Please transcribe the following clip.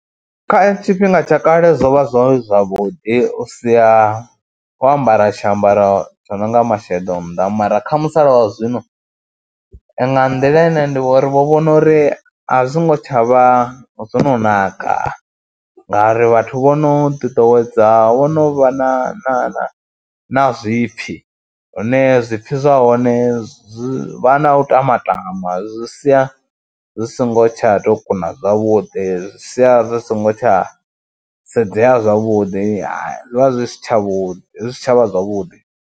Kha tshifhinga tsha kale zwo vha zwo zwavhuḓi u sia, wo ambara tshiambaro tsho no nga masheḓo nnḓa mara kha musala wa zwino nga nḓila ine ndi vho ri vho vhona uri a zwo ngo tsha vha zwo naka ngauri vhathu vho no ḓiḓowedza, vho no vha na na na na zwipfhi hune zwipfhi zwa hone zwi vha na u tama tama, zwi sia zwi songo tsha tou kuna zwavhuḓi, zwi sia zwi songo tsha sedzea zwavhuḓi, zwi vha zwi si tshavhuḓi zwi si tsha vha zwavhuḓi.